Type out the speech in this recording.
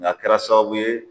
Nka a kɛra sababu ye.